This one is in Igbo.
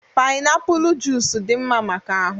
painiapulu junic dị mma maka ahụ